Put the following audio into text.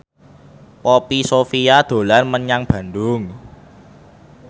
Poppy Sovia dolan menyang Bandung